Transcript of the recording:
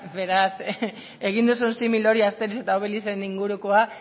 beraz egin duzun simil hori asterix eta obelixen ingurukoa